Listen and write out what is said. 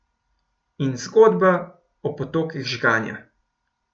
In zgodba o potokih žganja.